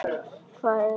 Hvað er að hrynja?